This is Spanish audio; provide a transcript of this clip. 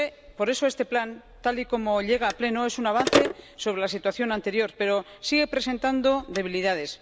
Por eso, este plan, tal y como llega al Pleno, es un avance sobre la situación anterior, pero sigue presentando debilidades.